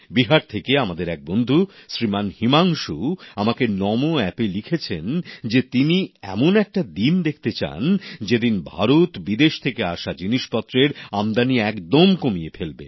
বিহার থেকে আমাদের এক বন্ধু শ্রীমান হিমাংশু আমাকে নমো অ্যাপএ লিখেছেন যে তিনি এমন একটা দিন দেখতে চান যেদিন ভারত বিদেশ থেকে আসা জিনিসপত্রের আমদানি একদম কমিয়ে ফেলবে